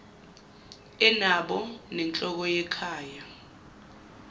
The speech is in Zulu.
onabo nenhloko yekhaya